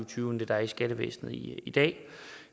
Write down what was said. tyve end dem der er i skattevæsenet i i dag